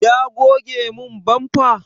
Ya goge min bamfa?